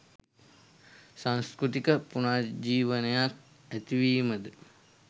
සංස්කෘතික පුනර්ජීවනයක් ඇතිවීම ද